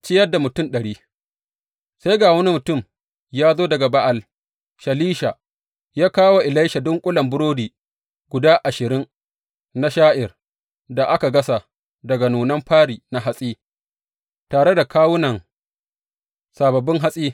Ciyar da mutum ɗari Sai ga wani mutum ya zo daga Ba’al Shalisha, ya kawo wa Elisha dunƙulen burodi guda ashirin na sha’ir da aka gasa daga nunan fari na hatsi, tare da kawunan sababbin hatsi.